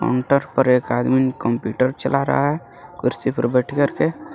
Counter पर एक आदमीन कंप्यूटर चला रहा है कुर्सी पे बैठ करके.